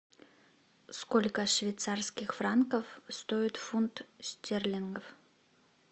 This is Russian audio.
сколько швейцарских франков стоит фунт стерлингов